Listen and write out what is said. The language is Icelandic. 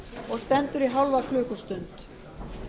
og stendur í hálfa klukkustund